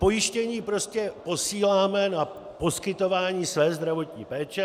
Pojištění prostě posíláme na poskytování své zdravotní péče.